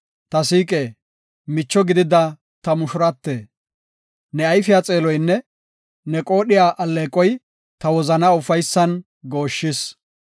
Ta siiqe, micho gidida ta mushurate; ne ayfiya xeeloynne ne qoodhiya alleeqoy, ta wozanaa ufaysan gooshshis.